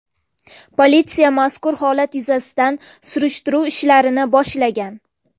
Politsiya mazkur holat yuzasidan surishtiruv ishlarini boshlagan.